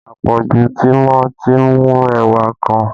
Àpọ̀jù tìmọ́ ti mú ẹwà kan